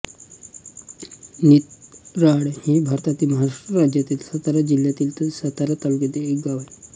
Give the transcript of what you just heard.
नितराळ हे भारतातील महाराष्ट्र राज्यातील सातारा जिल्ह्यातील सातारा तालुक्यातील एक गाव आहे